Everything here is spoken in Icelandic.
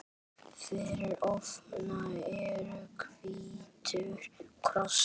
Fyrir ofan er hvítur kross.